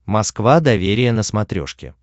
москва доверие на смотрешке